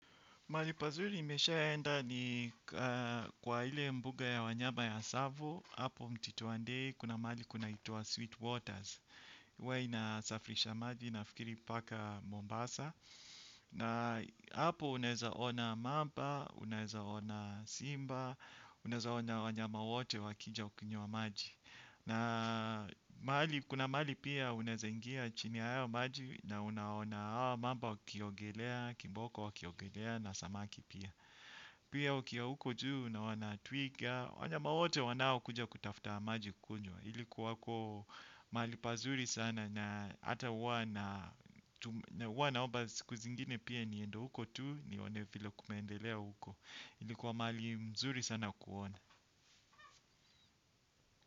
Malipazuri nimesha enda ni kwa ile mbuga ya wanyama ya tsavo hapo mtituandei kuna mali kuna itua Sweet Waters. Huwa inasafrisha maji na fikiri paka Mombasa. Na hapo unaezaona mamba, unaezaona simba, unaezaona wanyama wote wakija ukiny wa maji. Na kuna mali pia unaeza ingia chini ya hayo maji na unaona hawa mamba wakiogelea, kimboko wakiogelea na samaki pia. Pia ukiwa huko juu unaona twiga. Wanyama wote wanao kuja kutaftaa maji kukunywa. Ilikuwa huko mali pazuri sana. Na ata huwa wana oba siku zingine pia niendo huko tu. Nionevilo kumendelea huko. Ilikuwa mali mzuri sana kuona.